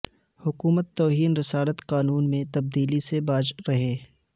حکومت توہین رسالت قانون میں تبدیلی سے باز رہے